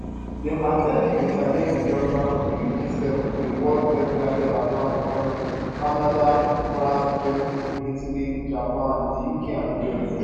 dem attempt to challenge di dominance of di g7 di world seven largest advanced economies canada france germany italy japan di uk and di us